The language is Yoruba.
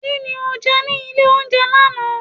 ki ní oje ní ilé oúnjẹ laná?